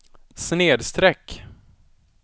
snedsträck